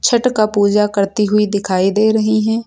छठ का पूजा करती हुई दिखाई दे रही है।